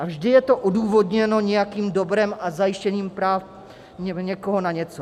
A vždy je to odůvodněno nějakým dobrem a zajištěním práv někoho na něco.